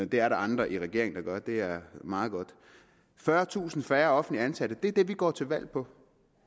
det er der andre i regeringen der gør og det er meget godt fyrretusind færre offentligt ansatte er det vi går til valg på